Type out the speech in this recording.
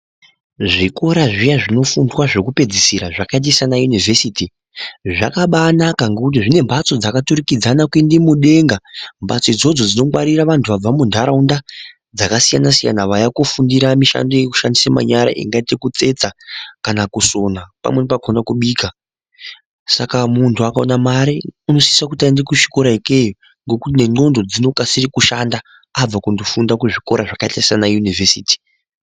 Zvikora zviya zvinofundwa zvekupedzisira zvakaita sanayunovhesiti zvakabanaka ngekuti dzine mhatso dzakaturikidzana kuende mudenga mhatso idzodzo dzinongwarira vantu vabva munharaunda dzakasiyana-siyana. Vauya kofundira mishando yekushandisa manyara ekuite kutsetsa kana kusona pamweni pacho kana kubika. Saka muntu akaona mare unosisa kuti kuenda kuzvikora ikweyo ngekuti nendxondo dzinokasire kushanda abva kundofunda kuzvikoro zvakaita sana yunivhesiti.